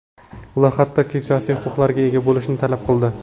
Ular hattoki siyosiy huquqlarga ega bo‘lishni talab qildi.